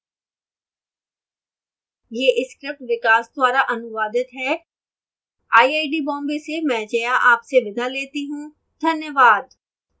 यह script विकास द्वारा अनुवादित है मैं जया अब आपसे विदा लेती हूँ